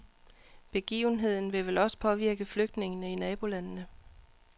Begivenheden vil vel også påvirke flygtningene i nabolandene.